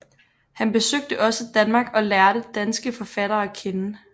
Han besøgte også Danmark og lærte danske forfattere at kende